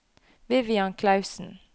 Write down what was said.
Vivian Clausen